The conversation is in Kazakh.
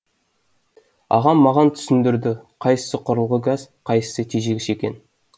ағам маған түсіндірді қайсы құрылғы газ қайсысы тежегіш екенін